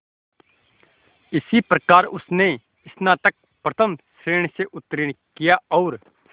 इस प्रकार उसने स्नातक प्रथम श्रेणी से उत्तीर्ण किया और